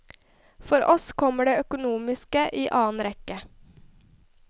For oss kommer det økonomiske i annen rekke.